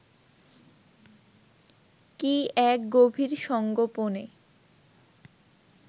কী এক গভীর সংগোপনে